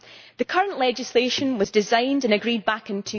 The current legislation was designed and agreed back in